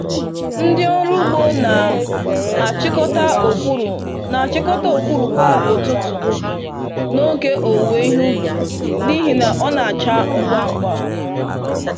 Ndị ọrụ ugbo na achikọta okwuru na achikọta okwuru kwa ụtụtụ n'oge owuwe ihe ubi n'ihi na ọ na acha ngwa ngwa.